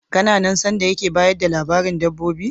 Kana nan sanda yake bayar da labarin dabbobi?